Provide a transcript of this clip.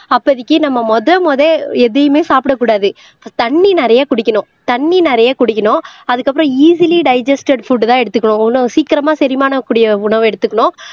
அப்போதைக்கு நம்ம முதல் முதல் எதையுமே சாப்பிடக் கூடாது தண்ணி நிறைய குடிக்கணும் தண்ணி நிறைய குடிக்கணும் அதுக்கப்புறம் ஈசிலி டைஜிஸ்டேட் புட் தான் எடுத்துக்கணும் இன்னும் சீக்கிரமா செரிமான கூடிய உணவு எடுத்துக்கணும்